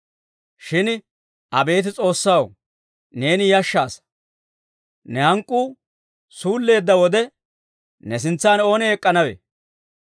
Shin abeet S'oossaw, neeni yashshaasa! Ne hank'k'uu suulleedda wode, ne sintsan oonee ek'k'anawe?